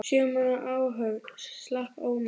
Sjö manna áhöfn slapp ómeidd.